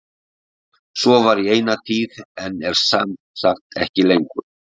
Svo var í eina tíð en er sem sagt ekki lengur.